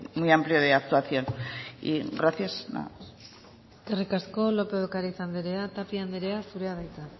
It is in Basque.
muy amplio de actuación y gracias nada más eskerrik asko lópez de ocariz anderea tapia andrea zurea da hitza